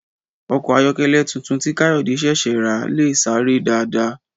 Ọkọ̀ ayọ̀kẹ́lẹ́ tuntun tí Káyọ̀dé ṣẹ̀ṣẹ̀ rà lè sáré dáadáa